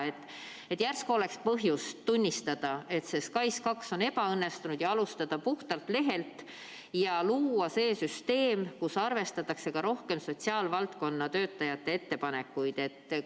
Järsku oleks põhjust tunnistada, et SKAIS2 on ebaõnnestunud, alustada puhtalt lehelt ja luua see süsteem, kus arvestatakse ka rohkem sotsiaalvaldkonna töötajate ettepanekuid?